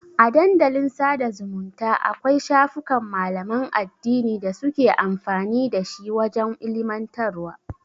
A Dandalin sada zumunta Akwai shafukan malaman addini da suke amfani dashi wajan ilimantarwa